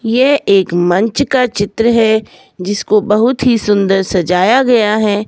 ये एक मंच का चित्र है जिसको बहुत ही सुंदर सजाया गया है।